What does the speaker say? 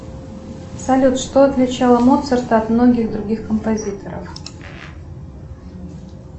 салют что отличало моцарта от многих других композиторов